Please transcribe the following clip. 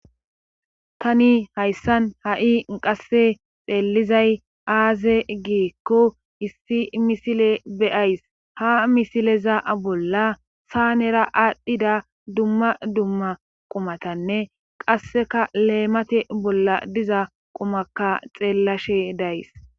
tani hayssan ha7i qasse xeellizay aaze giikko issi misile beyays ha misileza bolla saanera aadhdhida dumma dumma qumatanne qasseka leemate bolla diza qumakka xeellashe days